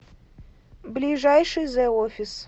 ближайший зе офис